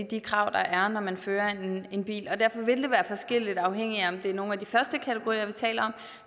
de krav der er når man fører en en bil derfor vil det være forskelligt afhængigt af om det er nogle af de første kategorier vi taler om